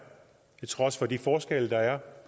til trods for de forskelle der er